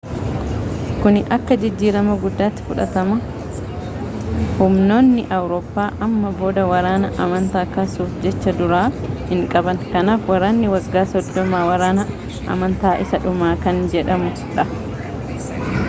kuni akka jijjiirama guddaatti fudhatama humnoonni awuroppa amma booda waraana amantaa kaasuuf jecha-duraa hin qaban kanaaf waraanni waggaa soddomaa waraana amantaa isaa dhumaa kan jedhamu ta'a